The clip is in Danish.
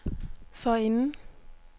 forinden